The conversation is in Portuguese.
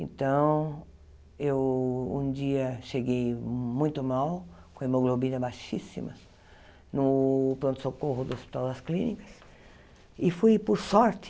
Então, eu um dia cheguei muito mal, com hemoglobina baixíssima, no pronto-socorro do Hospital das Clínicas, e fui, por sorte,